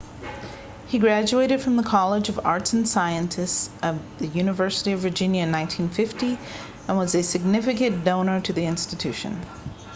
he graduated from the college of arts & sciences of the university of virginia in 1950 and was a significant donor to that institution